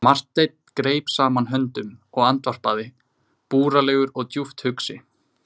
Marteinn greip saman höndum og andvarpaði, búralegur og djúpt hugsi.